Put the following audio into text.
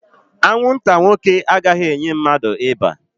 Anwụnta nwoke agaghị enye mmadụ ịba